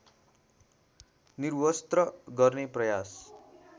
निर्वस्त्र गर्ने प्रयास